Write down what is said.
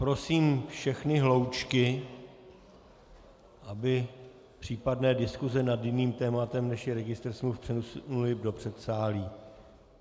Prosím všechny hloučky, aby případné diskuse nad jiným tématem, než je registr smluv, přesunuly do předsálí.